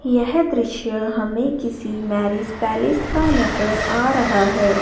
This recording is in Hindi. यह दृश्य हमें किसी मैरिज पैलेस का नजर आ रहा है।